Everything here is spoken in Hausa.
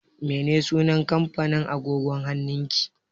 Me sunan kampanin agogon hannun ki?